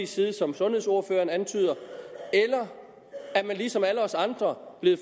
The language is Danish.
side som sundhedsordføreren antyder eller er man ligesom alle os andre blevet